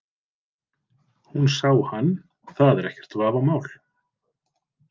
Hún sá hann, það er ekkert vafamál.